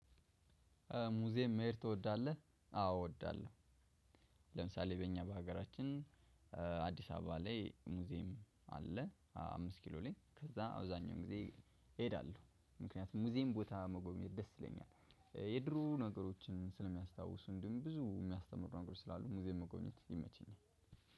ሙዚየም መሄድ ትወዳለህ? አዎ እወዳለሁ። ለምሳሌ በእኛ በሀገራችን አዲስ አበባ ላይ ሙዚየም አለ። አምስት ኪሎ ላይ ከዛ አብዛኛውን ጊዜ እሄዳለሁ። ምክንያቱም ሙዚየም ቦታ መጎብኘት ደስ ይለኛል። የድሮ ነገሮችን ስለሚያስታውሱ እንዲሁም ብዙ ሚያስተምሩ ነገሮች ስላሉ ሙዚየም መጎብኘት ይመቸኛል።